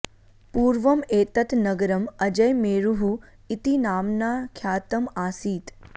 पूर्वम् एतत् नगरम् अजयमेरुः इति नाम्ना ख्यातम् आसीत्